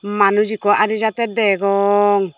manuj ekku adi jatte degong.